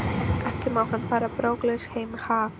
Ekki má hann fara brókarlaus heim, ha?